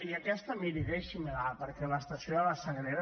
i aquesta miri deixi me la perquè l’estació de la sagrera